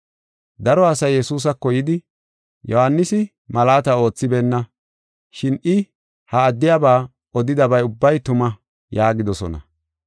Daro asay Yesuusako yidi, “Yohaanisi malaata oothibeenna, shin I ha addiyaba odidabay ubbay tuma” yaagidosona.